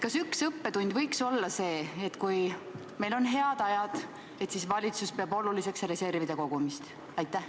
Kas üks õppetund võiks olla see, et kui meil on head ajad, siis valitsus peab oluliseks reservide kogumist?